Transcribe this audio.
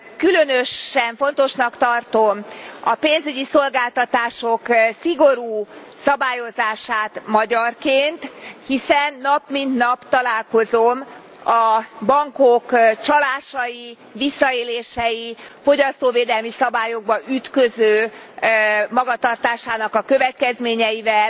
Különösen fontosnak tartom a pénzügyi szolgáltatások szigorú szabályozását magyarként, hiszen nap mint nap találkozom a bankok csalásainak, visszaéléseinek, fogyasztóvédelmi szabályokba ütköző magatartásának a következményeivel,